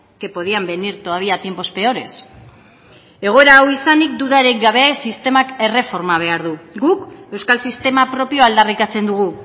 que podían venir todavía tiempos peores egoera hau izanik dudarik gabe sistemak erreforma behar du guk euskal sistema propioa aldarrikatzen dugu